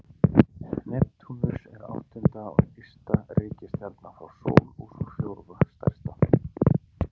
Neptúnus er áttunda og ysta reikistjarnan frá sól og sú fjórða stærsta.